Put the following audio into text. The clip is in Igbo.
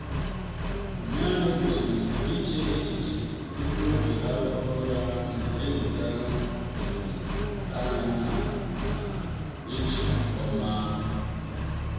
ụnyaahụ gosirim na-iche echiche tupu irahu ụra na-eweta edom anya ya na echi ọma.